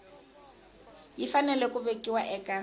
yi fanele ku vekiwa eka